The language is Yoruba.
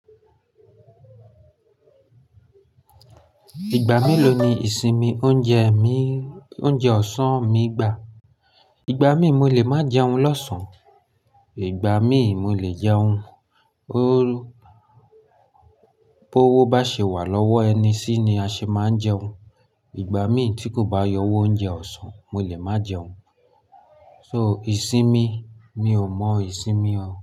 Ìgbà melo ló ni ìsinmi oúnjẹ mi, oúnjẹ ọ̀sán mi gbà. Ìgbà mí mo lè máa jẹun lọ́sàn-án. Ìgbà mí mo lè jẹun. Bo owó bá ṣe wà lọ́wọ́ ẹni sí ni a ṣe máa ń jẹun. Ìgbà mí tí kò bá yọ owó oúnjẹ ọ̀sán, mo lè máa jẹun. So ìsinmi mio mọ ìsinmi o.